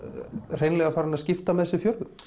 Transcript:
hreinlega farin að skipta með sér fjörðum